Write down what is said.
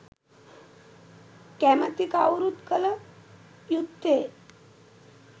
කැමැති කවුරුත් කළ යුත්තේ